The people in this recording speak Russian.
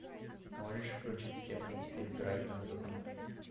можешь включить прямой эфир брайтон тоттенхэм